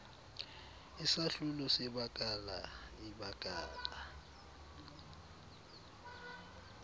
isahlulo sebakala ibakala